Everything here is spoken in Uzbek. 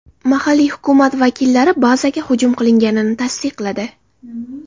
Mahalliy hukumat vakillari bazaga hujum qilinganini tasdiqladi.